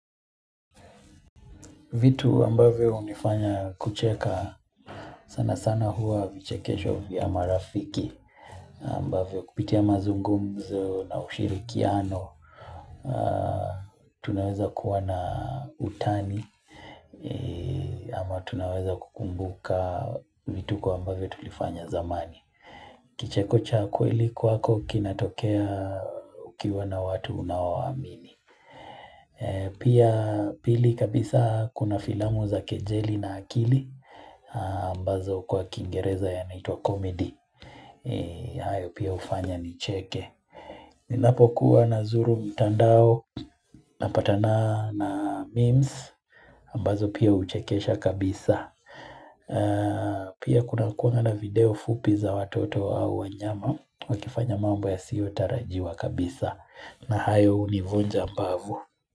Vitu ambavyo unifanya kucheka sana sana hua vichekesho vya marafiki ambavyo kupitia mazungumzo na ushirikiano. Tunaweza kuwana utani ma tunaweza kukumbuka vitu kwa ambavyo tulifanya zamani. Kicheko cha kweli kwako kinatokea ukiwa na watu unaowamini. Pia pili kabisa kuna filamu za kejeli na akili ambazo kwa kingereza ya naitwa comedy hayo pia hufanya nicheke Ninapo kuwa nazuru mtandao napatana na memes ambazo pia huchekesha kabisa Pia kuna kuanga na video fupi za watoto au wanyama wakifanya mambo ya siyo tarajiwa kabisa na hayo hunivunja mbavu.